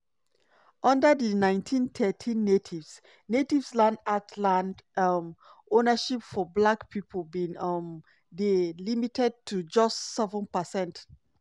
under di 1913 natives natives land act land um ownership for black pipo bin um dey limited to just 7%.